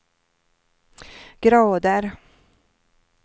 grader